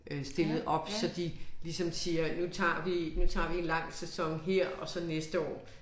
Øh stillet op så de ligesom siger nu tager vi nu tager vi en lang sæson her og så næste år